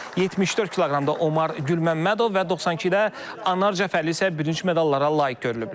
74 kq-da Omar Gülməmmədov və 92-də Anar Cəfərli isə bürünc medallara layiq görülüblər.